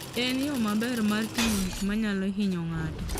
En yo maber mar ting'o gik manyalo hinyo ng'ato.